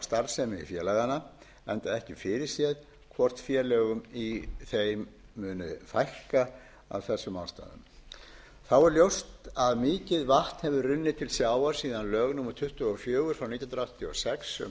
starfsemi félaganna enda ekki fyrirséð hvort félögum í þeim muni fækka af þessum ástæðum þá er ljóst að mikið vatn hefur runnið til sjávar síðan skiptaverðmæti og greiðslumiðlun innan sjávarútvegsins